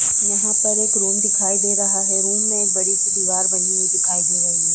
यहां पर एक रूम दिखाई दे रहा है। रूम में एक बड़ी सी दीवार बनी हुई दिखाई दे रही है।